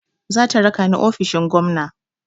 Zata raka ni ofishin gwamna.